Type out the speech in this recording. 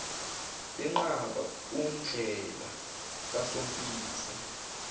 benqaba undlela kasompisi